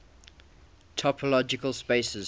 topological spaces